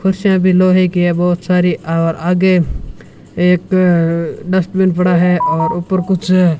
कुर्सियां भी लोहे कि है बहोत सारी और आगे एक डस्टबिन पड़ा है और ऊपर कुछ --